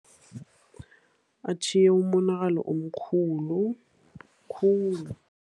Atjhiye umonakalo omkhulu, khulu.